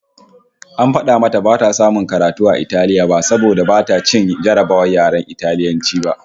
AN fada mata bata samu karatu a Italiya ba saboda bata ci jarrabawar yaren Italiyanci ba